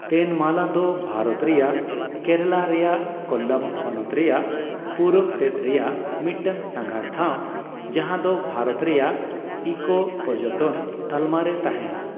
ᱛᱮᱱᱢᱟᱞᱟ ᱫᱚ ᱵᱷᱟᱨᱚᱛ ᱨᱮᱭᱟᱜ ᱠᱮᱨᱟᱞᱟ ᱨᱮᱭᱟᱜ ᱠᱳᱞᱞᱟᱢ ᱦᱚᱱᱚᱛ ᱨᱮᱭᱟᱜ ᱯᱩᱨᱩᱵᱽ ᱥᱮᱫ ᱨᱮᱭᱟᱜ ᱢᱤᱫᱴᱟᱝ ᱥᱟᱸᱜᱷᱟᱨ ᱴᱷᱟᱣ ᱡᱟᱦᱟᱸ ᱫᱚ ᱵᱷᱟᱨᱚᱛ ᱨᱮᱭᱟᱜ ᱤᱠᱳᱼᱯᱚᱨᱡᱚᱴᱚᱱ ᱛᱟᱞᱢᱟ ᱨᱮ ᱛᱟᱦᱮᱱᱟ ᱾